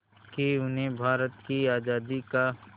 कि उन्हें भारत की आज़ादी का